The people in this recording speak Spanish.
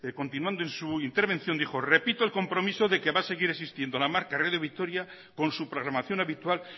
continuando en su intervención dijo repito el compromiso de que va a seguir existiendo la marca radio vitoria con su programación habitual